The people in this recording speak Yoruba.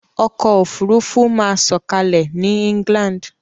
Ọkọ̀ òfurufú máa sọ̀kalẹ̀ ní England.